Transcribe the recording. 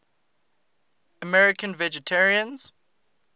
american vegetarians